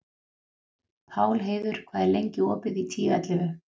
Pálheiður, hvað er lengi opið í Tíu ellefu?